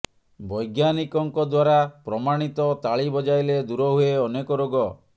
ବୈଜ୍ଞାନିକଙ୍କ ଦ୍ବାରା ପ୍ରମାଣିତ ତାଳି ବଜାଇଲେ ଦୂର ହୁଏ ଅନେକ ରୋଗ